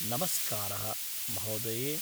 नमस्कारः महोदये।